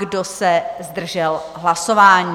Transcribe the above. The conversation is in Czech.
Kdo se zdržel hlasování?